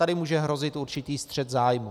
Tady může hrozit určitý střet zájmů.